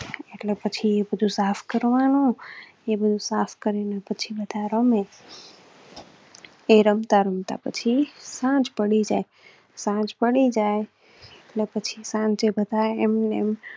પછી બધું સાફ કરવા નું એ બધું સાફ કરી ને પછી બધા રામે તે રમતા રમતા પછી આજ પડી જાય. સાંજ પડી જાય પછી સાંજે બતા એમએમ